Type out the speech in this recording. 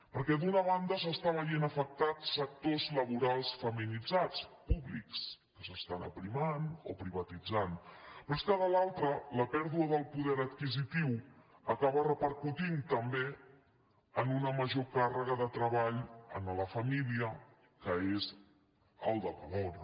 perquè d’una banda s’estan veient afectats sectors la·borals feminitzats públics que s’estan aprimant o pri·vatitzant però és que de l’altra la pèrdua del poder adquisitiu acaba repercutint també en una major càrre·ga de treball a la família que és el de la dona